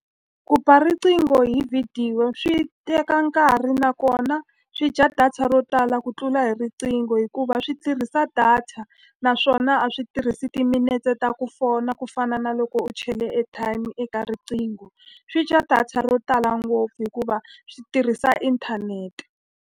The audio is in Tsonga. Ku ba riqingho hi vhidiyo swi teka nkarhi nakona swi dya data ro tala ku tlula hi riqingho hikuva swi tirhisa data. Naswona a swi tirhisi timinetse ta ku fona ku fana na loko u chele airtime eka riqingho. Swi dya data ro tala ngopfu hikuva swi tirhisa inthanete.